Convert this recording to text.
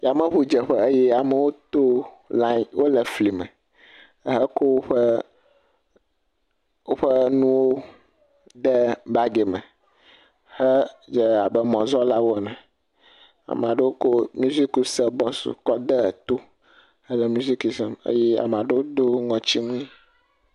Yameŋudzeƒe ye amewo to liaŋ, wole fli me heko woƒe nuwo de bagi me hedze abe mɔzɔ̃lawo ene. Amewo ko mizikisebɔsu kɔ de to hele miziki sem eye ame aɖewo do ŋɔtiwui.